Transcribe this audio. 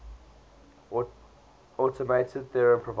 automated theorem proving